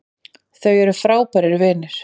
Þau eru frábærir vinir